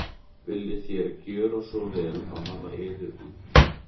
Viljið þér gjöra svo vel og hafa yður út.